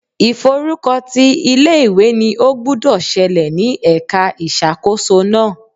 Ìf'orúkọ ti ilé ìwé ni ó gbúdọ̀ ṣẹlẹ̀ ní ẹ̀ka ìṣàkóso náà.